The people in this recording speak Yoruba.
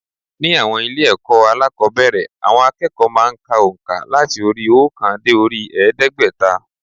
Ní àwọn ilé ẹ̀kọ́ alákòóbẹ̀rẹ̀ àwọn akẹ́kọ̀ọ́ má a n ka ònkà làti orí i óòkan dé orí i èédégbẹ́ta